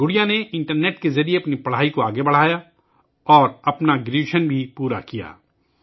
گڑیا نے انٹرنیٹ کے ذریعے اپنی پڑھائی جاری رکھی اور اپنی گریجویشن بھی مکمل کی